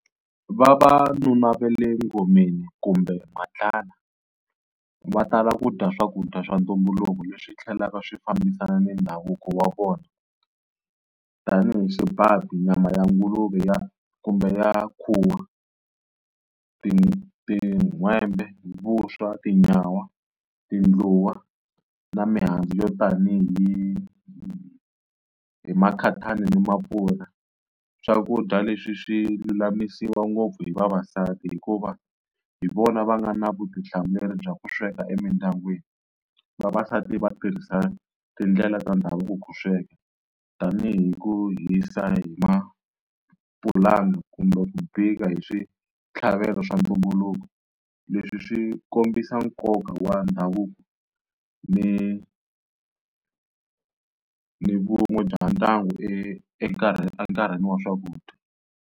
Vavanuna va le ngomeni kumbe matlala va tala ku dya swakudya swa ntumbuluko leswi tlhelaka swi fambisana na ndhavuko wa vona tani hi swipati, nyama ya nguluve ya kumbe ya khuwa, ti tin'hwembe, vuswa, tinyawa, tindluwa na mihandzu yo tani hi hi makhatani ni maapula. Swakudya leswi swi lulamisiwa ngopfu hi vavasati hikuva hi vona va nga na vutihlamuleri bya ku sweka emindyangwini. Vavasati va tirhisa tindlela ta ndhavuko ku sweka tanihi ku hisa hi mapulanga kumbe ku bika hi switlhavelo swa ntumbuluko, leswi swi kombisa nkoka wa ndhavuko ni ni vun'we bya ndyangu enkarhini wa swakudya.